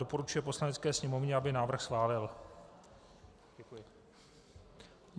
Doporučuje Poslanecké sněmovně, aby návrh schválila.